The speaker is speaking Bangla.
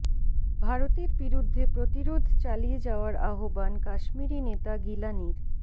ভারতের বিরুদ্ধে প্রতিরোধ চালিয়ে যাওয়ার আহ্বান কাশ্মীরি নেতা গিলানির